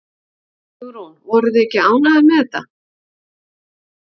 Hugrún: Voruð þið ekki ánægðar með það?